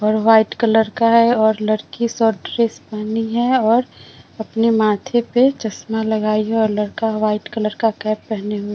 और white colour का है और लड़की शार्ट ड्रेस पेहनी है और अपनी माथे पे चस्मा लगायी है और लड़का व्हाइट कलर का कैप पहने हुए --